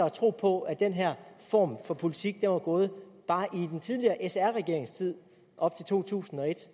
at tro på at den her form for politik var gået bare i den tidligere sr regerings tid op til to tusind og et